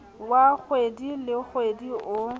wa kgwedi le kgwedi o